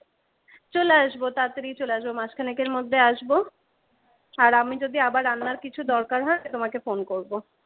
চলে আসব তাড়াতাড়ি চলে আসবো মাসখানেক এর মধ্যে আসবো আর আমি যদি আবার রান্নার কিছু দরকার হয় আমি তোমাকে ফোন করবো।